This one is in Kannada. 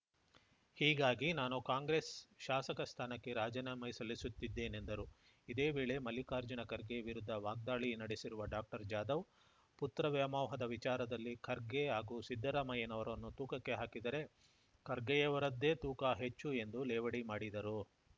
ಹೀಗಾಗಿ ನಾನು ಕಾಂಗ್ರೆಸ್ ಶಾಸಕ ಸ್ಥಾನಕ್ಕೆ ರಾಜೀನಾಮೆ ಸಲ್ಲಿಸುತ್ತಿದ್ದೇನೆಂದರು ಇದೇ ವೇಳೆ ಮಲ್ಲಿಕಾರ್ಜುನ ಖರ್ಗೆ ವಿರುದ್ಧ ವಾಗ್ದಾಳಿ ನಡೆಸಿರುವ ಡಾಕ್ಟರ್ಜಾಧವ್‌ ಪುತ್ರ ವ್ಯಾಮೋಹದ ವಿಚಾರದಲ್ಲಿ ಖರ್ಗೆ ಹಾಗೂ ಸಿದ್ದರಾಮಯ್ಯನವರನ್ನು ತೂಕಕ್ಕೆ ಹಾಕಿದರೆ ಖರ್ಗೆಯವರದ್ದೇ ತೂಕ ಹೆಚ್ಚು ಎಂದು ಲೇವಡಿ ಮಾಡಿದರು